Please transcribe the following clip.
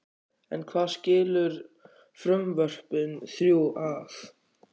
En hvað skilur frumvörpin þrjú að?